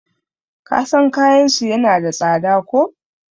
kasan kayansu yana da tsada ko?